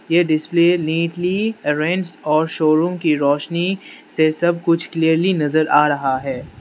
यह display neatly arranged और showroom की रोशनी से सब कुछ क्लीयरली नजर आ रहा है।